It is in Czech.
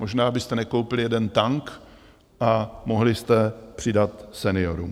Možná byste nekoupili jeden tank a mohli jste přidat seniorům.